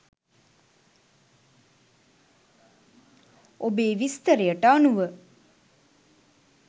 ඔබේ විස්තරයට අනුව